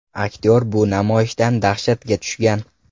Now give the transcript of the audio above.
Aktyor bu namoyishdan dahshatga tushgan.